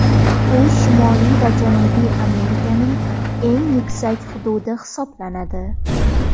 U Shimoliy va Janubiy Amerikaning eng yuksak hududi hisoblanadi.